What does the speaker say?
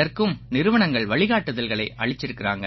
இதற்கும் நிறுவனங்கள் வழிகாட்டுதல்களை அளிச்சிருக்காங்க